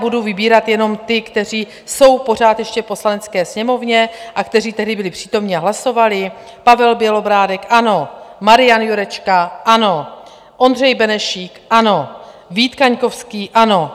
Budu vybírat jenom ty, kteří jsou pořád ještě v Poslanecké sněmovně a kteří tehdy byli přítomni a hlasovali: Pavel Bělobrádek - ano, Marian Jurečka - ano, Ondřej Benešík - ano, Vít Kaňkovský - ano.